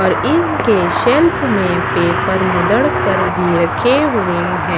और इनके शेल्फ में पेपर मुदड़ कर भी रखे हुए है।